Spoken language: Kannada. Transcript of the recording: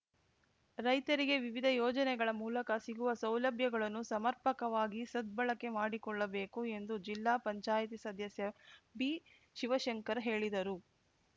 ರೈತರಿಗೆ ವಿವಿಧ ಯೋಜನೆಗಳ ಮೂಲಕ ಸಿಗುವ ಸೌಲಭ್ಯಗಳನ್ನು ಸಮರ್ಪಕವಾಗಿ ಸದ್ಬಳಕೆ ಮಾಡಿಕೊಳ್ಳಬೇಕು ಎಂದು ಜಿಲ್ಲಾ ಪಂಚಾಯಿತಿ ಸದಸ್ಯ ಬಿಶಿವಶಂಕರ್‌ ಹೇಳಿದರು